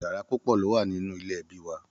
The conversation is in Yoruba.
Yàrá púpọ lo wà nínú ilé ẹbí wà.